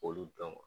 K'olu dɔn